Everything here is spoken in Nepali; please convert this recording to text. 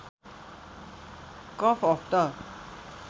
cup of the